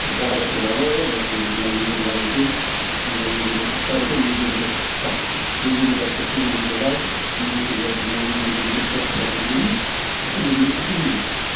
сол жағада отырып алып мына өзен лай екен мына өзенде тас бар екен өзенде батпақ өзенде суы неге лай немесе мына өзенде неге қоқсық жатыр деген емес біз сол өзенге кіріп кету керек